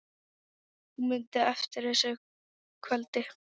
Hún mundi eftir þessu kvöldi.